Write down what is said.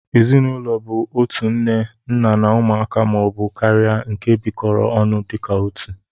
Ezinụlọ bu otu nne ,nna na ụmụaka ma ọ bu karia nke bikọrọ ọnụ dika otụ